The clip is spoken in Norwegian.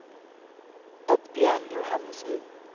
Oddbjørn Johannesen